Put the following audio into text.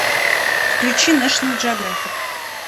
включи нэшнл джеографик